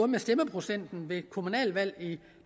med stemmeprocenten ved kommunalvalg i